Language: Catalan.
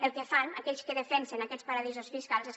el que fan aquells que defensen aquests paradisos fiscals